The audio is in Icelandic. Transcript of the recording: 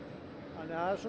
þannig að